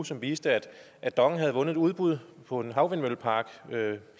som viste at dong havde vundet et udbud på en havvindmøllepark